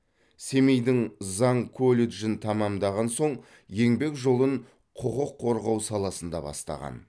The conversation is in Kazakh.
семейдің заң колледжін тәмамдаған соң еңбек жолын құқық қорғау саласында бастаған